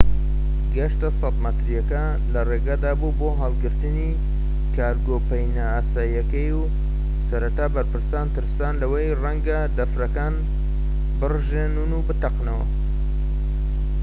کەشتیە 100 مەتریەکە لە ڕێگەدا بوو بۆ هەڵگرتنی کارگۆ پەینە ئاساییەکەی و سەرەتا بەرپرسان ترسان لەوەی ڕەنگە دەفرەکان بڕژێن و بتەقێتەوە